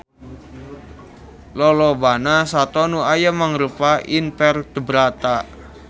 Lolobana sato nu aya mangrupa invertebrata